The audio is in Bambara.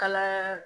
Kala